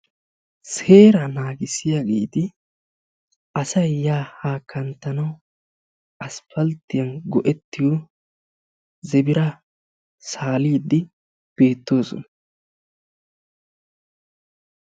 Seeraa naagissiyageeti asayi yaa haa kanttanawu asppalttiyan go'ettiyo zebiraa saaliiddi beettoosona.